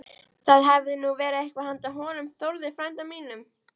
Það hefði nú verið eitthvað handa honum Þórði frænda mínum!